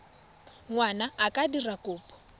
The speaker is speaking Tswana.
ngwana a ka dira kopo